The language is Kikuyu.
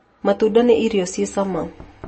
Matunda nĩ irio cia cama.